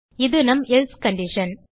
இது நம் else condition